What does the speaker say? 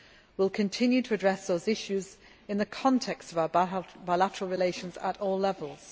parties. We will continue to address these issues in the context of our bilateral relations at all